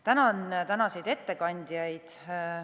Tänan tänaseid ettekandjaid.